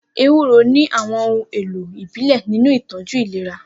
Ewuro ní àwọn ohun èlò ìbílẹ̀ nínú ìtọ́jú ìlera.